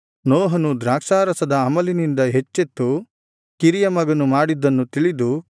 ನೋಹನು ದ್ರಾಕ್ಷಾರಸದ ಅಮಲಿನಿಂದ ಎಚ್ಚೆತ್ತು ಕಿರಿಯ ಮಗನು ಮಾಡಿದ್ದನ್ನು ತಿಳಿದು